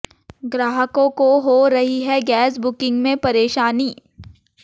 ग्राहकों को हो रही है गैस बुकिंग में परेशानी